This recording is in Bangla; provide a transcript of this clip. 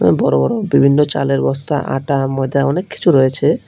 বড় বড় বিভিন্ন চালের বস্তা আটা ময়দা অনেক কিছু রয়েছে।